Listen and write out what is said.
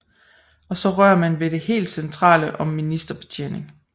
Og så rører man ved det helt centrale om ministerbetjening